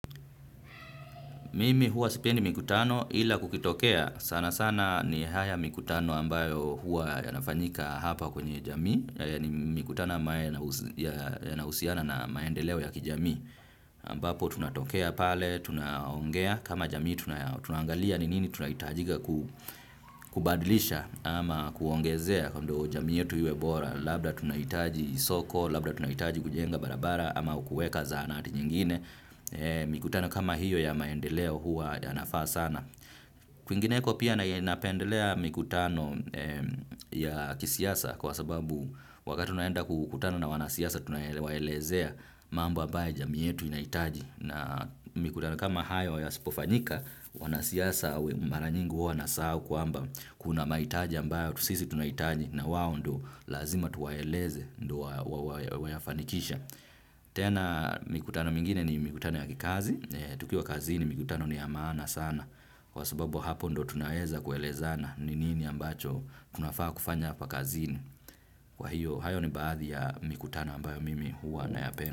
Mimi huwa sipendi mikutano ila kukitokea, sana sana ni haya mkutano ambayo huwa ya nafanyika hapa kwenye jamii, haya ni mikutano ambayo yanahusiana na maendeleo ya kijamii. Ambapo tunatokea pale, tunaongea, kama jamii tunaangalia ni nini tunahitajika kubadilisha ama kuongezea ndoo jamii yetu iwe bora, labda tunahitaji soko, labda tunahitaji kujenga barabara ama ukuweka zahanati nyingine. Mikutano kama hiyo ya maendeleo hua ya nafaa sana. Kwingineko pia na napendelea mikutano ya kisiasa kwa sababu wakati unaenda kukutana na wanasiasa tunaelezea mambo ambayo jamii yetu inahitaji na mikutano kama hayo ya sipofanyika wanasiasa mara nyingi huwa wasahau kwamba kuna mahitaji ambayo sisi tunahitaji na wao ndo lazima tuwaeleze ndo wa yafanikishe. Tena mikutano mingine ni mikutano ya kikazi. Tukiwa kazini mikutano ni ya maana sana. Kwa sababu hapo ndo tunaweza kuelezana. Ni nini ambacho tunafaa kufanya hapa kazini. Kwa hiyo hayo ni baadhi ya mikutano ambayo mimi huwa na ya penda.